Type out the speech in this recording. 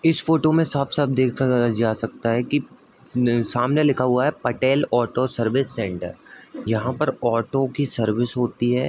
इस फ़ोटो में साफ-साफ देखा जा सकता है कि सामने लिखा हुआ है पटेल ऑटो सर्विस सेन्‍टर | यहाँ पर ऑटो की सर्विस होती है ।